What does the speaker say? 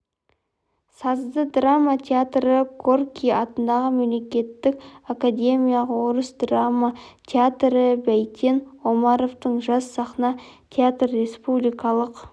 сазды-драма театры горький атындағы мемлекеттік академиялық орыс драма театры бәйтен омаровтың жас сахна театры республикалық